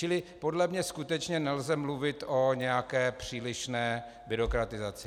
Čili podle mě skutečně nelze mluvit o nějaké přílišné byrokratizaci.